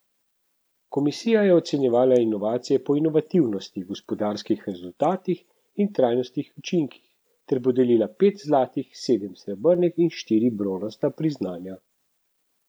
Komisija je ocenjevala inovacije po inovativnosti, gospodarskih rezultatih in trajnostnih učinkih ter podelila pet zlatih, sedem srebrnih in štiri bronasta priznanja.